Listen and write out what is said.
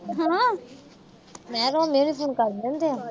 ਮੈਂ ਕਿਹਾ ਮੇਰੇ phone ਕਰ ਲੈਂਦੇ ਆ।